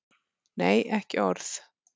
Nei, ekki orð.